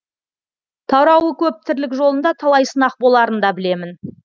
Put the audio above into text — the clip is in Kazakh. тарауы көп тірлік жолында талай сынақ боларын да білемін